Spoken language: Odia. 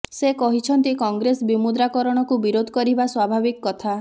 ସେ କହିଛନ୍ତି କଂଗ୍ରେସ ବିମୁଦ୍ରାକରଣକୁ ବିରୋଧ କରିବା ସ୍ୱଭାବିକ୍ କଥା